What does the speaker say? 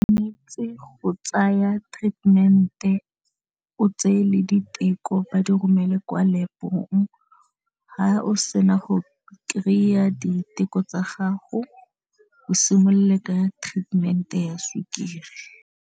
Go tsaya treatment-e o tseye le diteko ba di romele kwa lap-ong ha o se na go kry-a diteko tsa gago o simolole ka treatment-e ya sukiri.